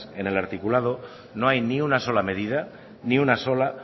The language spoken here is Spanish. en el articulado no hay ni una sola medida ni una sola